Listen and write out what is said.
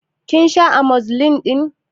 Kin sha Amozilin ɗin?